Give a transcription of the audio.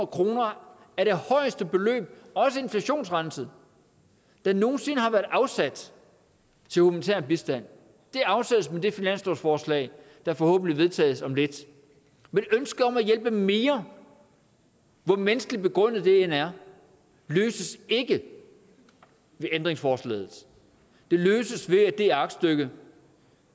kroner er det højeste beløb også inflationsrenset der nogen sinde har været afsat til humanitær bistand det afsættes med det finanslovsforslag der forhåbentlig vedtages om lidt men ønsket om at hjælpe mere hvor menneskeligt begrundet det end er løses ikke ved ændringsforslaget det løses ved at det aktstykke